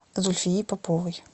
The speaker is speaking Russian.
зульфии поповой